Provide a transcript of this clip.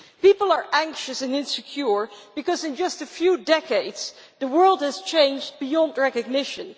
People are anxious and insecure because, in just a few decades, the world has changed beyond recognition.